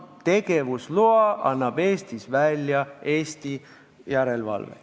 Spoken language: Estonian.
Tegevusloa annab Eestis välja Eesti järelevalve.